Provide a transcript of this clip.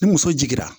Ni muso jiginna